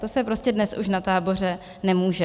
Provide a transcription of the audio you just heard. To se prostě dnes už na táboře nemůže.